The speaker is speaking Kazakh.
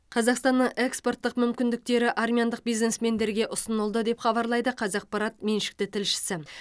қазақстанның экспорттық мүмкіндіктері армяндық бизнесмендерге ұсынылды деп хабарлайды қазақпарат меншікті тілшісі